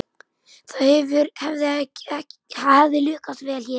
Það hefði lukkast vel hér.